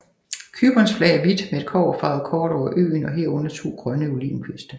Cyperns flag er hvidt med et kobberfarvet kort over øen og herunder to grønne olivenkviste